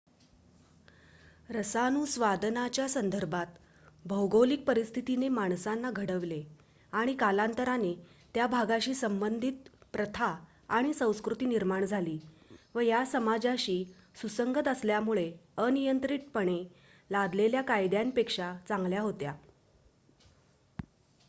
रसानुस्वादनाच्या संदर्भात भौगोलिक परिस्थितीने माणसांना घडवले आणि कालांतराने त्या भागाशी संबंधित प्रथा आणि संस्कृती निर्माण झाली व या समाजाशी सुसंगत असल्यामुळे अनियंत्रितपणे लादलेल्या कायद्यांपेक्षा चांगल्या होत्या